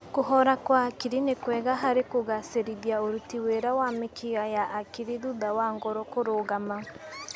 Kũhora kwa hakiri nĩ kwega harĩ kũgacĩrithia ũruti wĩra wa mĩkiha ya hakiri thutha wa ngoro kũrũgama